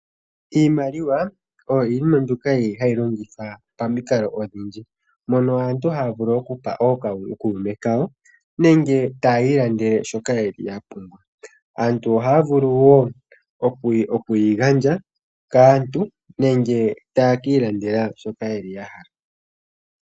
Iimaliwa oyo iinima mbyoka yili hayi longithwa pamikalo odhindji mono aantu haya vulu okupa ookume kawo nenge tayi ilandele shoka yeli ya pumbwa. Aantu ohaya vulu okuyi gandja kaantu nenge taye ki ilandela shoka yeli ya hala.